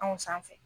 Anw sanfɛ